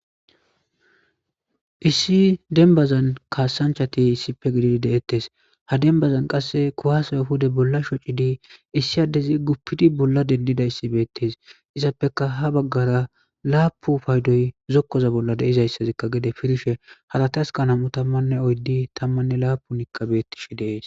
Issi denbazan kaasanchati issippe gididi deettes ha denbazan qasse kuwaasay huda bolla shocci dii issi addezi guppidi bolla dendida issibeettes izappeka ha baggara laapu paydoy zokkoza bolla deizayssazikka gede firishe halati askanam7u tammanne oyddi tammanne laapu niqqabettishe deees